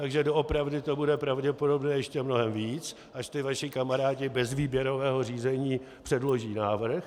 Takže doopravdy to bude pravděpodobně ještě mnohem víc, až ti vaši kamarádi bez výběrového řízení předloží návrh.